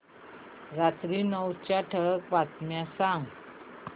रात्री नऊच्या ठळक बातम्या सांग